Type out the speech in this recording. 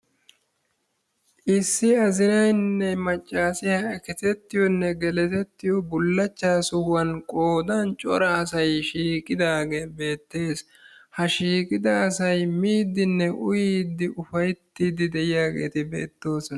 Issi azinaynne maccassiya eketettiyonne geletettiyo bullaachchaa sohuwan qoodaan cora asay shiiqqidaagee bettees. Ha shiiqqida asay miiddinne uyiiddi ufayttiidi de'iyageeti beettoosona.